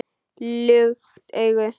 Lukt augu